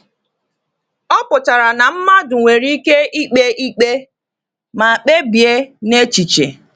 Ọ pụtara na mmadụ nwere ike ikpe ikpe ma kpebie n’echiche.